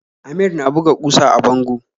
Amir na buga kusa a bango